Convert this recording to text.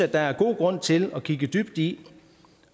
der er god grund til at kigge dybt i